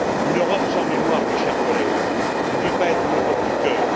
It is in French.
Une Europe sans mémoire, mes chers collègues, ne peut pas être une Europe du cœur.